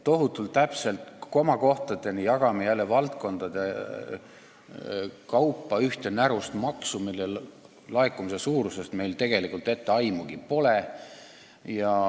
Tohutult täpselt, komakohtadeni välja, jagame jälle valdkondade kaupa ühte närust maksu, mille laekumise suurusest meil tegelikult ette aimugi pole.